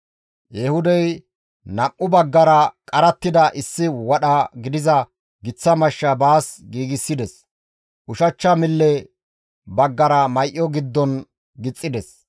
Ehuudey nam7u baggara qarattida issi wadha gidiza giththa mashsha baas giigsides; ushachcha mille baggara may7o giddon gixxides.